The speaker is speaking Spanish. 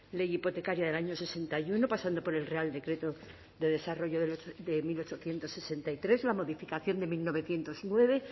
ley hipotecaria del año sesenta y uno pasando por el real decreto de desarrollo de mil ochocientos sesenta y tres la modificación de mil novecientos nueve